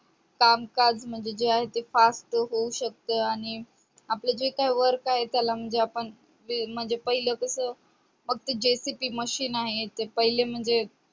कामकाज म्हणजे जे आहे ते खास होऊ शकत आणि आपले जे काही work आहे त्याला म्हणजे आपण म्हणजे पहिलं कस अगदी JCB machine आहे ते पहिले म्हणजे